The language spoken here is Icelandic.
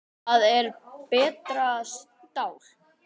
Það er að bræða stál.